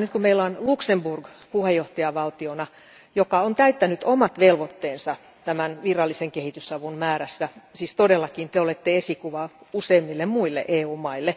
Nyt kun meillä on Luxemburg puheenjohtajavaltiona, joka on täyttänyt omat velvoitteensa tämän virallisen kehitysavun määrässä, siis todellakin te olette esikuva useimmille muille EU maille,